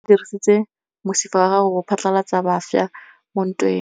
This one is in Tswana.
Lepodisa le dirisitse mosifa wa gagwe go phatlalatsa batšha mo ntweng.